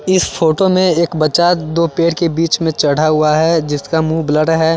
इस फोटो में एक बच्चा दो पेड़ के बीच में चढ़ा हुआ है जिसका मुंह ब्लर है।